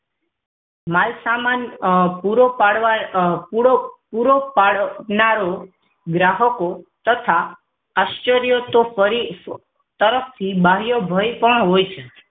માલ સામાન અ અ પૂરો પાડ પૂરો પાડ પૂરો પાડનારો ગ્રાહકો તથા આશ્ચર્ય પરી તરફથી બાહ્ય ભય પણ હોય છે